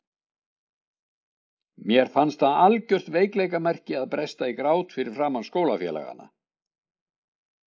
Mér fannst það algjört veikleikamerki að bresta í grát fyrir framan skólafélagana.